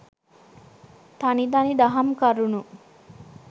තනි තනි දහම් කරුණු